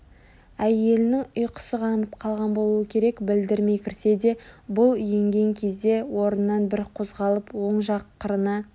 Әйелінің ұйқысы қанып қалған болуы керек білдірмей кірсе де бұл енген кезде орнынан бір қозғалып оң жақ қырына